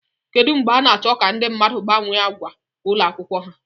Kedu mgbe a na-achọ ka ndị mmadụ gbanwee ákwà ụlọ akwụkwọ ha?